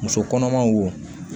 Muso kɔnɔmaw wo